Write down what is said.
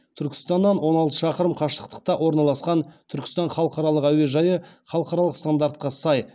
түркістаннан он алты шақырым қашықтықта орналасқан түркістан халықаралық әуежайы халықаралық стандартқа сай